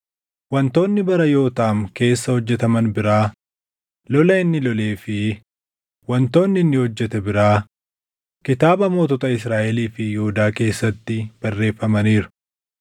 Wantoonni bara Yootaam keessa hojjetaman biraa, lola inni lolee fi wantoonni inni hojjete biraa kitaaba mootota Israaʼelii fi Yihuudaa keessatti barreeffamaniiru.